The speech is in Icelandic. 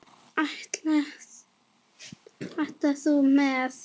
Ætlar þú með?